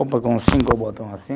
Roupa com cinco botões, assim.